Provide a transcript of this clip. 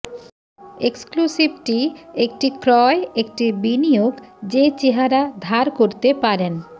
exclusivity একটি ক্রয় একটি বিনিয়োগ যে চেহারা ধার করতে পারেন